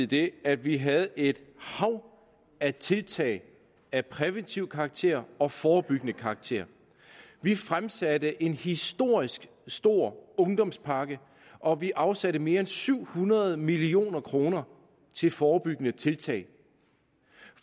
det at vi havde et hav af tiltag af præventiv karakter og af forebyggende karakter vi fremsatte en historisk stor ungdomspakke og vi afsatte mere end syv hundrede million kroner til forebyggende tiltag